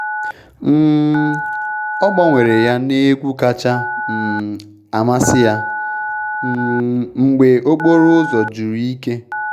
um Ogbanwere ya n’egwu kacha um amasị ya um mgbe okporo ụzọ juru ike